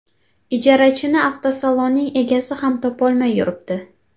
Ijarachini avtosalonning egasi ham topolmay yuribdi.